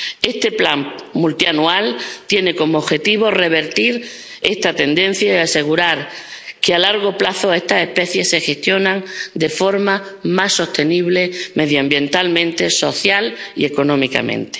Este plan multianual tiene como objetivo revertir esta tendencia y asegurar que, a largo plazo, estas especies se gestionen de forma más sostenible medioambiental, social y económicamente.